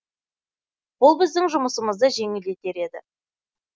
бұл біздің жұмысымызды жеңілдетер еді